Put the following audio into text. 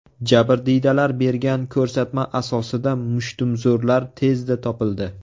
Jabrdiydalar bergan ko‘rsatma asosida mushtumzo‘rlar tezda topildi.